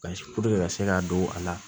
Basi puruke ka se ka don a la